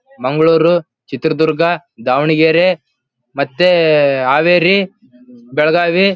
ಮಂಗಳೂರು ಚಿತ್ರದುರ್ಗ ದಾವಣಗೆರೆ ಮತ್ತೆ ಹಾವೇರಿ ಬೆಳಗಾವಿ--